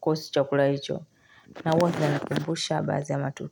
kuhusu chakula hicho. Na huwa kinanikumbusha baadhi ya matukio.